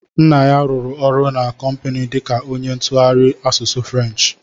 Nna ya rụrụ ọrụ na kompini dika onye ntụgharị asụsụ Frenchi.